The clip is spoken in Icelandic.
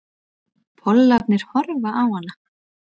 Pollarnir horfa á hana.